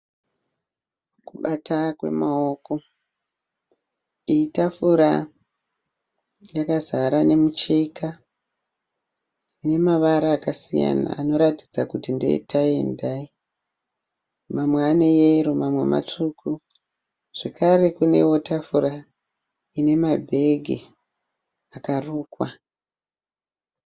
Kubata kwemaoko. Iyi tafura yakazara nemicheka ine mavara akasiyana anoratidza kuti ndee(tye and dye). Mamwe ane yero mamwe matsvuku zvakare kunewo tafura ine mabhegi akarukwa.